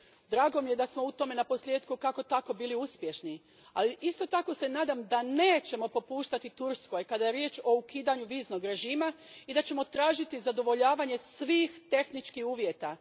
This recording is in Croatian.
Drago mi je da smo u tome naposljetku kako tako bili uspješni, ali se isto tako nadam da nećemo popuštati Turskoj kad je riječ o ukidanju viznog režima i da ćemo tražiti zadovoljavanje svih tehničkih uvjeta.